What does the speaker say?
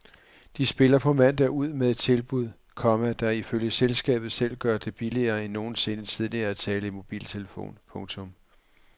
De spiller på mandag ud med et tilbud, komma der ifølge selskabet selv gør det billigere end nogensinde tidligere at tale i mobiltelefon. punktum